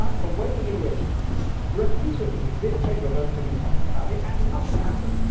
It is about the way in which, repeatedly, this Chamber votes to do something about it and nothing happens.